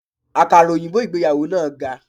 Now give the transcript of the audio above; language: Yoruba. Àkàrà òyìnbó ìgbéyàwó náà ga.